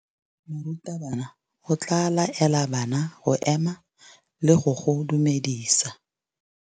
Morutabana o tla laela bana go ema le go go dumedisa.